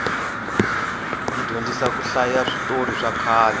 yi dyondzisa ku hlaya switorhi swakhale